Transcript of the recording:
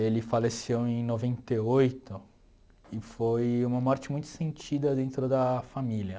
Ele faleceu em noventa e oito e foi uma morte muito sentida dentro da família.